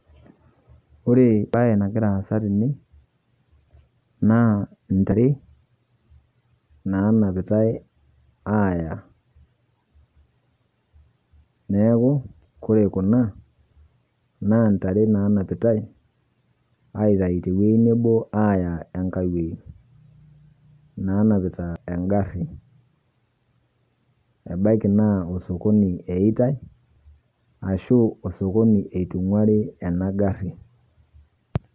Ore baye nagira aasa tene naa ntaare naanapitai ayaa. Neeku ore kuna naa ntaare naanapitai aitaai te wueji neboo ayaa nkaai wueji, natapitaa enkaari ebakii naa osokoni eiyetaai arashu osokoni etung'aari ena ng'aari.